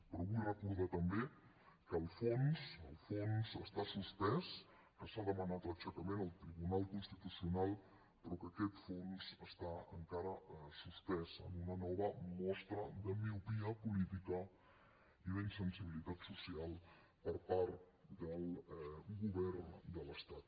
però vull recordar també que el fons està suspès que s’ha demanat l’aixecament al tribunal constitucional però que aquest fons està encara suspès en una nova mostra de miopia política i d’insensibilitat social per part del govern de l’estat